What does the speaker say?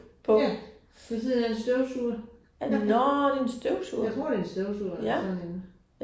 Ja ved siden af en støvsuger. Er det, jeg tror det er en støvsuger eller sådan noget lignende